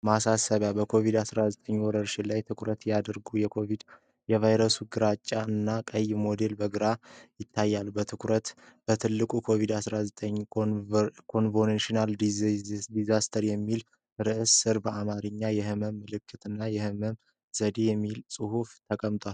ማሳሰቢያው በኮቪድ-19 ወረርሽኝ ላይ ትኩረት ያደርጋል፤ የቫይረሱ ግራጫ እና ቀይ ሞዴል በግልጽ ይታያል። በትልቁ "COVID-19 CORONAVIRUS DISEASE" በሚለው ርዕስ ስር በአማርኛ "የሕመም ምልክት እና የሕክምና ዘዴ" የሚል ጽሑፍ ተቀምጧል።